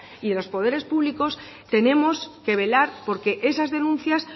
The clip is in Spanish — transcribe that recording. y los poderes públicos tenemos que velar porque esas denuncias